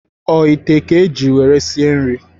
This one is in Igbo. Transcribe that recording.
O ite a ka iji nwere sie nri?